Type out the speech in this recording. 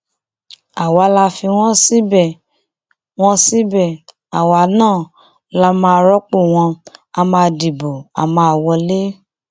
um àwọn tíṣẹlẹ yìí ṣojú wọn ṣàlàyé pé ní nǹkan bíi aago kan ọsán kọjá ìṣẹjú mẹẹẹdọgbọn ló ṣẹlẹ um